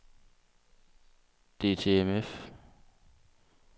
DTMF